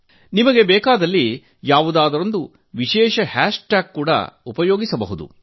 ಅಗತ್ಯಬಿದ್ದರೆ ನೀವು ಯಾವುದಾದರೊಂದು ವಿಶೇಷ ಹ್ಯಾಶ್ ಟ್ಯಾಗ್ ಕೂಡಾ ಉಪಯೋಗಿಸಬಹುದು